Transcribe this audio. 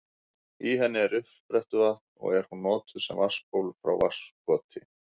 Í henni er uppsprettuvatn og er hún notuð sem vatnsból frá Vatnskoti.